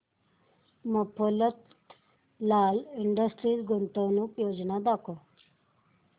Mafatlal Industries गुंतवणूक योजना दाखव